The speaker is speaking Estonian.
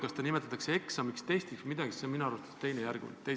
Kas me nimetame seda eksamiks või testiks, on minu arvates teisejärguline.